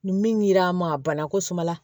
Ni min dira n ma a banna ko suma na